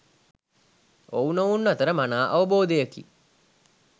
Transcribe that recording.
ඔව්නොවුන් අතර මනා අවබෝධයකි